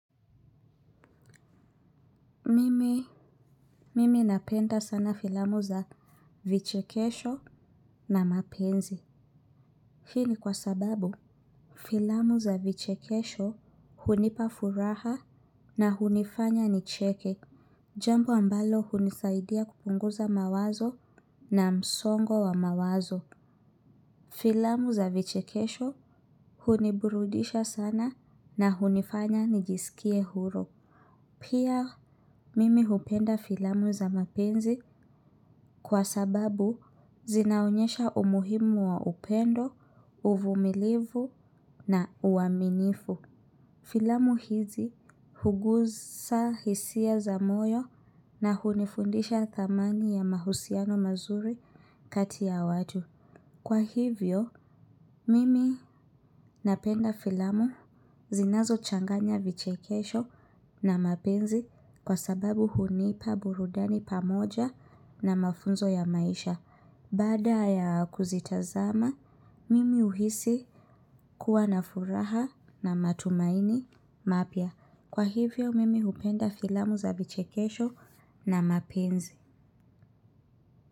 Mimi napenda sana filamu za vichekesho na mapenzi. Hii ni kwa sababu filamu za vichekesho hunipafuraha na hunifanya ni cheke. Jambo ambalo hunisaidia kupunguza mawazo na msongo wa mawazo. Filamu za vichekesho huniburudisha sana na hunifanya nijisikie huru. Pia mimi hupenda filamu za mapenzi kwa sababu zinaonyesha umuhimu wa upendo, uvumilivu na uaminifu. Filamu hizi hugusa hisia za moyo na hunifundisha thamani ya mahusiano mazuri kati ya watu. Kwa hivyo, mimi napenda filamu zinazo changanya vichekesho na mapenzi kwa sababu hunipa burudani pamoja na mafunzo ya maisha. Baada ya kuzitazama, mimi uhisi kuwa na furaha na matumaini mapia. Kwa hivyo, mimi hupenda filamu za vichekesho na mapenzi.